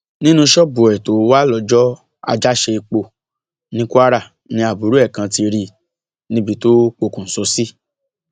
nínú ṣọọbù ẹ tó wà lọjọ àjàṣeipò ní kwara ni àbúrò ẹ kan ti rí i níbi tó pokùṣọ sí